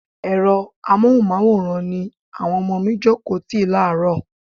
Ẹ̀rọ amohunmaworan ni àwọn ọmọ mi jókòó tì láàrọ́.